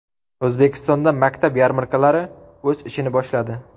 O‘zbekistonda maktab yarmarkalari o‘z ishini boshladi.